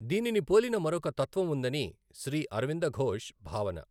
దీనిని పోలిన మరొక తత్త్వం ఉందని శ్రీ అరవిందఘోష్ భావన.